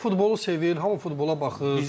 Yox, mən futbolu sevir, hamı futbola baxır.